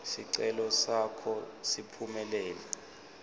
sicelo sakho siphumelele